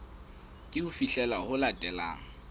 ke ho fihlela ho latelang